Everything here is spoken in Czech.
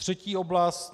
Třetí oblast.